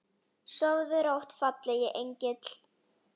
Sofðu rótt fallegi engill.